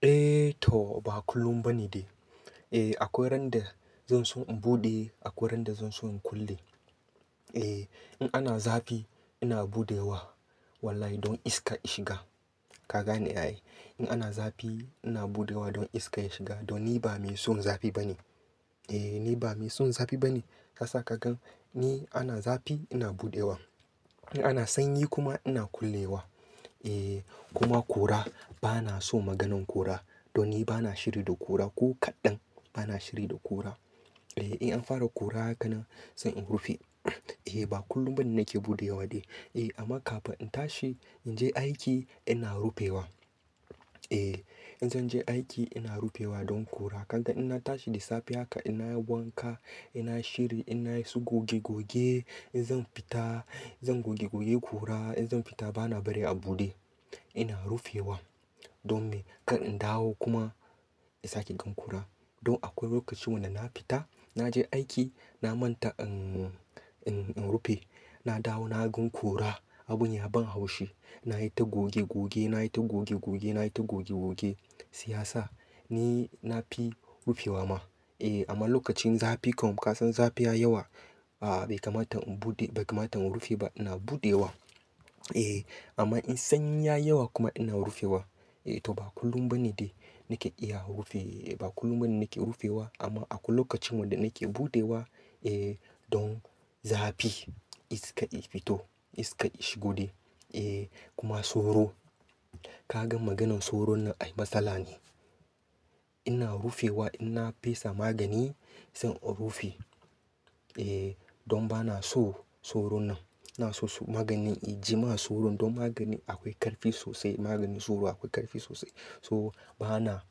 Eh to ba kullum ba ne de. Eh akwai ran da zan so in buɗe akwai ran da zan so in kulle. Eh in ana zafi ina buɗewa. Wallahi don iska ishiga. Ka gane ai. In ana zafi ina buɗewa don iska ishiga. Don ni ba mai son zafi ba ne. Eh ni ba mai son zafi ba ne. Yasa ka gan ni ana zafi ina buɗewa. In ana sanyi kuma ina kullewa. Eh kuma kora bana so maganan kora. Don ni bana shiri da kura ko kaɗan bana shiri da kura. Eh in an fara kura haka nan zan in rufe. Eh ba kullum ba ne nake buɗewa de. Eh amma kafin in tashi in je aiki ina rufewa. Eh in zan je aiki ina rufewa don kura. Kan ta in na tashi da safe haka ina wanka, ina shiri, ina yi su goge goge in zan fita zan goge goge kura in zan fita bana bari a buɗe. Ina rufewa don me? Kar in dawo kuma insake gan kura. Don akwai lokacin wanda na fita na je aiki na manta in, in, in rufe. Na dawo na gan kura abun ya ban haushi. Na yi ta goge goge, na yi ta goge goge, na yi ta goge goge, siyasa ni na fi rufewa ma. Eh amma lokacin zafi kam ka san zafiya yi yawa a ba kamata in buɗe, bai kamata in rufe ba ina buɗewa. Eh amma in sanyi ya yawa kuma ina rufewa. Eh to ba kullum ba ne de nake iya rufe. Ba kullum ba ne nake rufewa amma akwai lokacin wanda nake buɗewa. Eh don zafi iska i fito iska ishigo de. Eh kuma soro. Ka gan maganan soro nan ai matsala ne. Ina rufewa in na fesa magani sai in rufe. Eh don bana so soro nan. Na so su magani iji ma soron don magani akwai ƙarfi sosai. Maganin soro akwai ƙarfi sosai. So bana,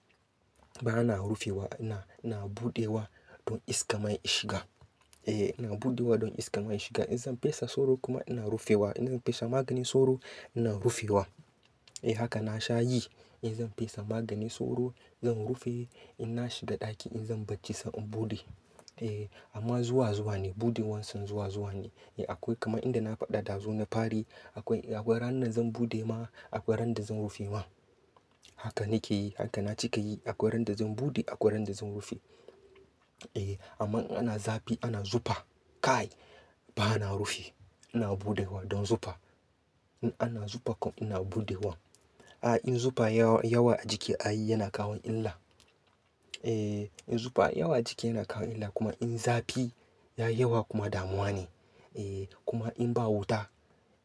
bana rufewa ina, ina buɗewa don iska man ishiga. Eh ina buɗewa don iska man ishiga. In zan fesa soro kuma ina rufewa. In zan fesa maganin soro ina rufewa. Eh haka na sha yi. In zan fesa maganin soro zan rufe ina shi da ɗaki in zan barci sai in buɗe. Eh amma zuwa zuwa ne buɗewa son zuwa zuwa ne. Eh akwai kama inda na faɗa ɗazu na fari akwai, akwai ranan zan buɗe ma akwai ran da zan rufe ma. Haka nake yi. Haka na cika yi. Akwai ran da zan buɗe akwai ran da zan rufe. Eh amma in ana zafi ana zufa kai bana rufi ina buɗewa don zufa. In ana zufa kam ina buɗewa. A in zufa yawa, yawa a jiki ai yana kawo illa. Eh in zufa yawa a jiki yana kawo illa kuma in zafi ya yawa kuma damuwa ne. Eh kuma in ba wuta,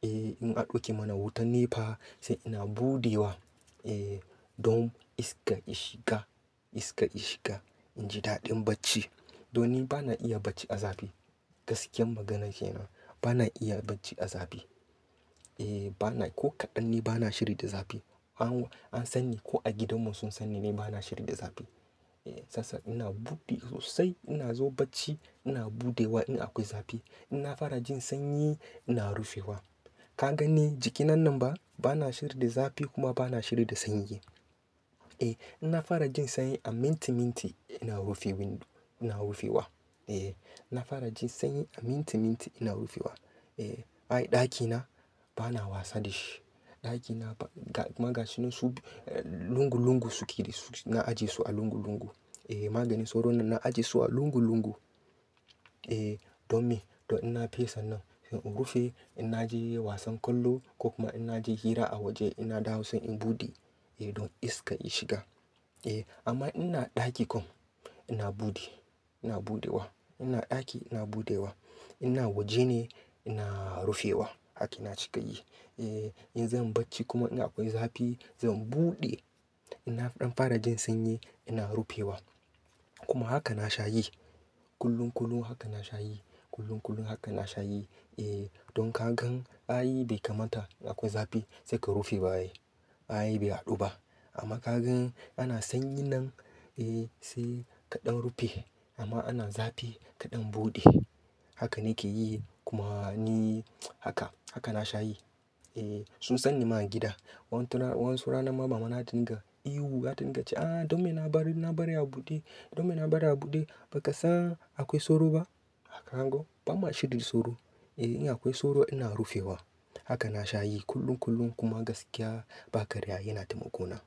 eh in an ɗauke mana wuta ne fa sai ina buɗewa. Eh don iska ishiga iska ishiga in ji daɗin barci. Don ni bana iya barci a zafi. Gaskiyan maganan kenan bana iya barci a zafi. Eh bana ko kaɗan ne bana shiri da zafi. Anwa, an sani ko a gidan mu sun sani ne bana shiri da zafi. Eh sasa ina buɗe sosai ina zo barci ina buɗewa in akwai zafi. In na fara jin sanyi ina rufewa. Ka gan ne jiki na nan ba bana shiri da zafi kuma bana shiri da sanyi. Eh ina fara jin sanyi a minti minti ina rufi windo ina rufewa. Eh ina fara jin sanyi a minti minti ina rufewa. Eh ai ɗakina bana wasa da shi. Ɗakina ba ga maganin su lungu lungu suke. Na ajiye su a lungu lungu. Eh maganin soro nan na ajiye su a lungu lungu. Eh don me? Don ina fesa nan sai in rufe ina je wasan kwallo ko kuma ina je hira a waje ina dawo sai in buɗe. Eh don iska ishiga. Eh amma ina ɗaki kam ina buɗe ina buɗewa. Ina ɗaki ina buɗewa. Ina waje ne ina rufewa. Haka ina cika yi. Eh in zan barci kuma in akwai zafi zan buɗe. Ina ɗan fara jin sanyi ina rufewa. Kuma haka na sha yi. Kullun kullum haka na sha yi. Kullun kullum haka na sha yi. Eh don ka gan ai bai kamata akwai zafi sai ka rufe ba ye. Ai bai hadu ba. Amma ka gan ana sanyi nan, eh sai ka ɗan rufe amma ana zafi ka ɗan buɗe. Haka nake yi kuma ni haka, haka na sha yi. Eh sun sani ma a gidan. Wan tura, wani su rana mama na ta dinga ihu ta dinga cewa "ah don me na bari, na bari a buɗe. Don me na bari a buɗe?" Ba ka san akwai soro ba? Hakan go ba ma shiri soro. Eh in akwai soro ina rufewa. Haka na sha yi kullum kullum kuma gaskiya ba karya yana taimako na.